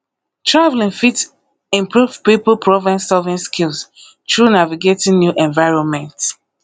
traveling fit improve pipo problemsolving skills through navigating new environments